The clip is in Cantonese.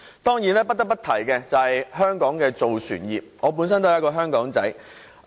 當然，不得不提的是香港的造船業，我本身也是一名"香港仔"。